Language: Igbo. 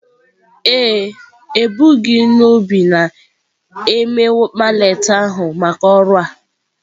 Ee e, ebughi n'obi na-eme mallet ahụ maka ọrụ a.